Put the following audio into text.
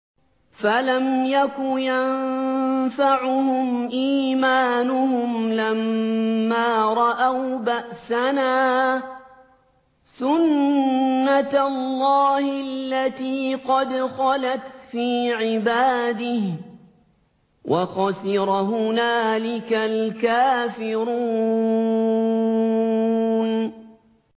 فَلَمْ يَكُ يَنفَعُهُمْ إِيمَانُهُمْ لَمَّا رَأَوْا بَأْسَنَا ۖ سُنَّتَ اللَّهِ الَّتِي قَدْ خَلَتْ فِي عِبَادِهِ ۖ وَخَسِرَ هُنَالِكَ الْكَافِرُونَ